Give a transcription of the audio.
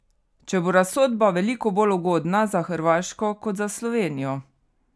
Če bo razsodba veliko bolj ugodna za Hrvaško kot za Slovenijo?